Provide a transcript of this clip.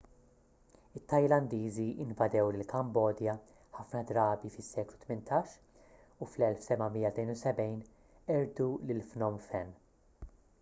it-tajlandiżi invadew lill-kambodja ħafna drabi fis-seklu 18 u fl-1772 qerdu lil phnom phen